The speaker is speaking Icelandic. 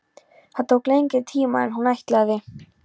Það tók lengri tíma en hún ætlaði.